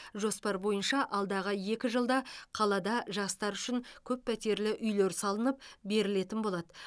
жоспар бойынша алдағы екі жылда қалада жастар үшін көппәтерлі үйлер салынып берілетін болады